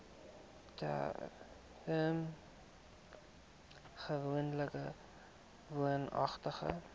term gewoonlik woonagtig